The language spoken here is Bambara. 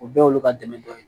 O bɛɛ y'olu ka dɛmɛ dɔ ye